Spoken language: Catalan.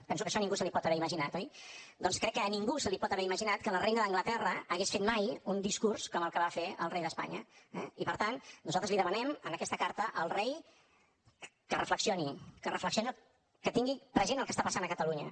penso que això ningú s’ho pot haver imaginat oi doncs crec que ningú es pot haver imaginat que la reina d’anglaterra hagués fet mai un discurs com el que va fer el rei d’espanya eh i per tant nosaltres li demanem en aquesta carta al rei que reflexioni que reflexioni que tingui present el que està passant a catalunya